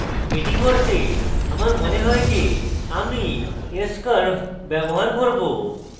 এটি করতে আমার মনে হয় যে আমি s curve ব্যবহার করব